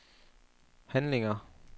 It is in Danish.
handlinger